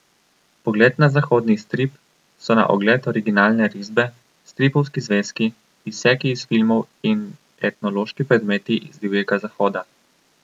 Pogled na zahodni strip, so na ogled originalne risbe, stripovski zvezki, izseki iz filmov in etnološki predmeti z Divjega zahoda.